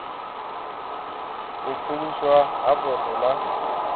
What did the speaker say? u pfuluswa ha poswo na